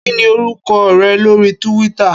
Kini órúkò rè lóri túwìtá?